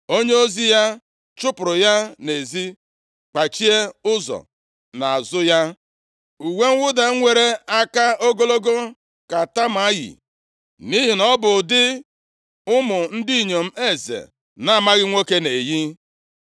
Onyeozi ya chụpụrụ ya nʼezi, kpachie ụzọ nʼazụ ya. Uwe mwụda nwere aka ogologo ka Tama yi, nʼihi na ọ bụ ụdị nke ụmụ ndị inyom eze na-amaghị nwoke na-eyi.